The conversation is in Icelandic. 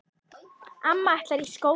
Amma ætlar í skóla í haust.